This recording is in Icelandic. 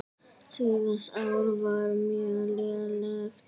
Síðasta ár var mjög lélegt.